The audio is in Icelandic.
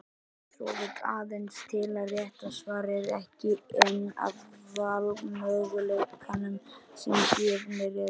Svo vill aðeins til að rétta svarið er ekki einn af valmöguleikunum sem gefnir eru.